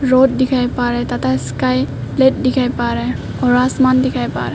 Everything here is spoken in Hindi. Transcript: रोड दिखाई पा रहा है टाटा स्काई प्लेट दिखाई पा रहा है और आसमान दिखाई पा रहा है।